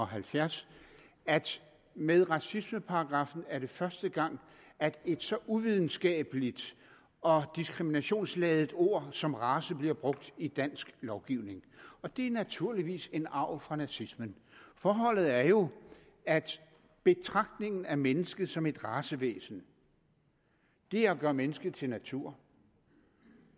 halvfjerds med racismeparagraffen er første gang at et så uvidenskabeligt og diskriminationsladet ord som race bliver brugt i dansk lovgivning og det er naturligvis en arv fra nazismen forholdet er jo at betragtningen af mennesket som et racevæsen er at gøre mennesker til natur